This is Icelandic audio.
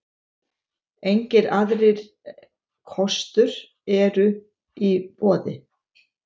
Engir aðrir kostur eru í boði.